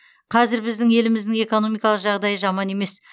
қазір біздің еліміздің экономикалық жағдайы жаман емес